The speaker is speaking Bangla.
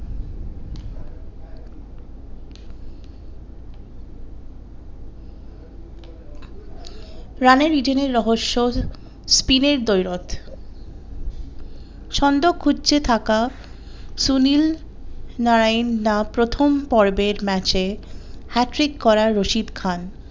রানের ইডেনের রহস্য স্পিনের দৈরত ছন্দ খুঁজতে থাকা সুনীল নারায়ণ না প্রথম পর্বের ম্যাচে hat trick করা রশিদ খান।